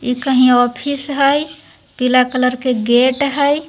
इ कही ऑफिस हाय ये पिला कलर के गेट हाय।